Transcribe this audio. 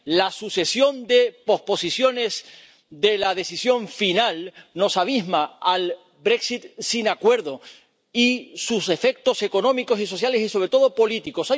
La sucesión de posposiciones de la decisión final nos abisma al Brexit sin acuerdo y sus efectos económicos y sociales y, sobre todo, políticos.